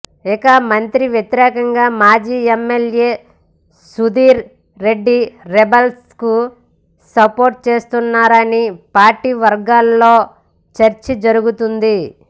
ఇక మంత్రికి వ్యతిరేకంగా మాజీ ఎమ్మెల్యే సుధీర్ రెడ్డి రెబల్స్ కు సపోర్టు చేస్తున్నారని పార్టీ వర్గాల్లో చర్చ జరుగుతోంది